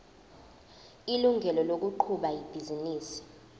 ilungelo lokuqhuba ibhizinisi